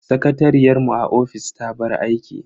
Sakatariyar mu a ofis ta bar aiki.